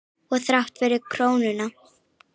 Og þrátt fyrir krónuna?